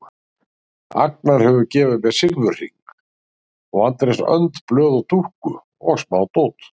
Agnar hefur gefið mér silfurhring og Andrés önd blöð og dúkku og smádót.